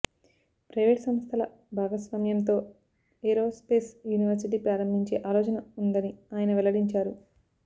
private సంస్థల భాగస్వామ్యంతో aerospace university ప్రారంభించే ఆలోచన ఉందని ఆయన వెల్లడించారు